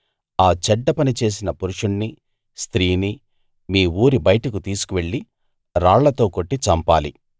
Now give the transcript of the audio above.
ఆ చెడ్డ పని చేసిన పురుషుణ్ణి స్త్రీని మీ ఊరి బయటకు తీసుకువెళ్ళి రాళ్లతో కొట్టి చంపాలి